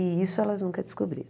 E isso elas nunca descobriram.